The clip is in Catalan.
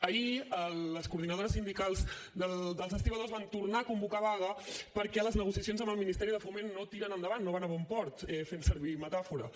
ahir les coordinadores sindicals dels estibadors van tornar a convocar vaga perquè les negociacions amb el ministeri de foment no tiren endavant no van a bon port fent servir metàfora